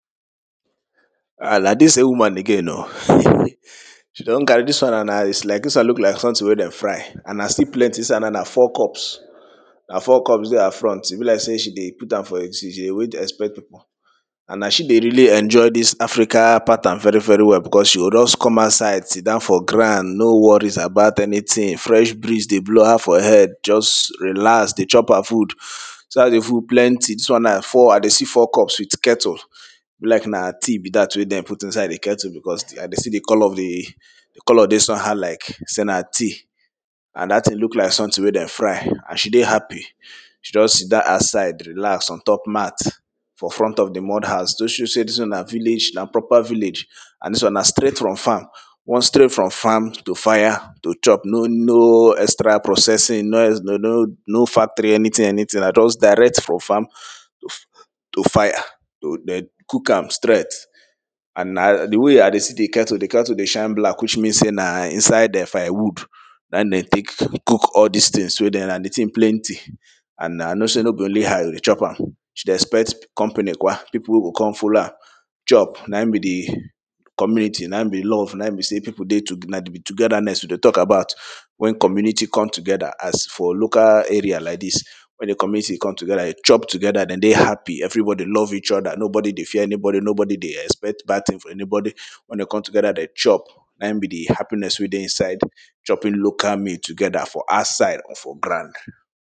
Ah na dis same woman again oh she don carry, dis one na, na is like, dis one look like something wey dem fry, and na still plenty inside na, na four cups, na four cups dey her front, e be like sey she dey put am for, she dey wait, expect pipo. And na she dey really enjoy dis Africa pattern very very well because, she go just come outside sit down for ground no worries about anything, fresh breeze dey blow her for head, just relax dey chop her food, see as di food plenty, dis one na four, I dey see four cups with kettle, e be like na tea be dat wey dem put inside di kettle because, I dey see di colour of di, di colour dey somehow like sey na tea and dat thing look like something wey dem fry, and she dey happy, she just sit down aside, relax on top mat for front of the mud house, to show sey dis one na village, na proper village and dis one na straight from farm. Once straight from farm, to fire, to chop no, no extra processing, no, no factory anything, anything, na just direct from farm to fire to, de cook am straight and na di way I dey see di kettle, di kettle dey shine black, which mean sey na inside um firewood na hin dem tek cook all dis things wey dem, and di thing plenty and I know sey no be only her dey chop am. She dey expect company kwa, people go con follow her chop, na in be di community, na in be love, na in be sey pipo dey tu, na togetherness we dey tok about. When community come together, as for local area like dis, when the community come together, de chop together, den dey happy, everybody love eachother, nobody dey fear anybody, nobody dey expect bad thing from anybody, when de come together de chop, na in be the happiness wey dey inside chopping local meal together for outside or for ground.